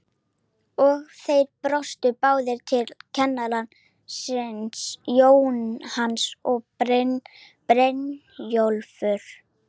Og þeir brosa báðir til kennara síns, Jónas og Brynjólfur.